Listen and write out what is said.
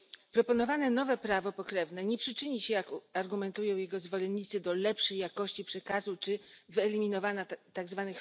Proponowane nowe prawo pokrewne nie przyczyni się, jak argumentują jego zwolennicy, do lepszej jakości przekazu czy wyeliminowania tzw.